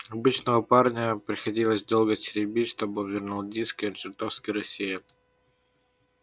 обычно парня приходилось долго теребить чтобы вернул диски он чертовски рассеян